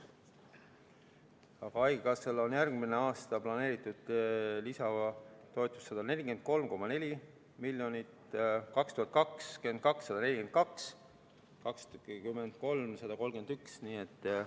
Aga haigekassale on järgmine aasta planeeritud lisatoetust 143,4 miljonit, 2022. aastal 142 miljonit, 2023. aastal 131 miljonit.